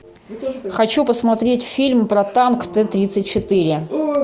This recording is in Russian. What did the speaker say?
хочу посмотреть фильм про танк т тридцать четыре